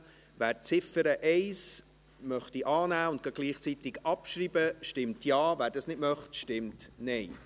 Wer die Ziffer 1 annehmen und gleichzeitig abschreiben möchte, stimmt Ja, wer das nicht möchte, stimmt Nein.